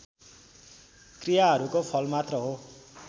क्रियाहरूको फलमात्र हो